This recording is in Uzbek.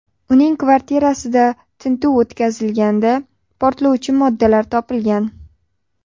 Uning kvartirasida tintuv o‘tkazilganda portlovchi moddalar topilgan.